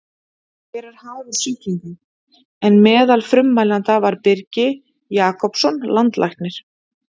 Hver er hagur sjúklinga? en meðal frummælanda var Birgi Jakobsson landlæknir.